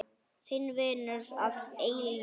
Þinn vinur að eilífu.